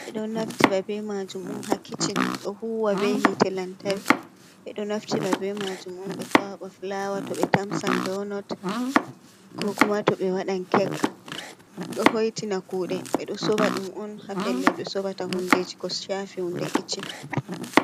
Ɓe ɗon naftiro ɓe maajum um ha kiccin. Ɗo huwa be hite lantarki. Ɓe ɗo naftiri ɓe majum um ɓe kwaba fulawa to ɓe tamsan donot, koo kuma to ɓe wadan kek .Ɗo hoitina kude, ɓe ɗo sora ɗum on ha pellel ɓe sorata hundeji ko shafe hunde kiccin.